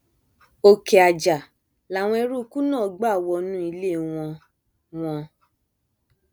òkè ajá làwọn eruùkù náà gbà wọnú ilé wọn wọn